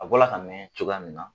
A bɔla ka mɛn cogoya min na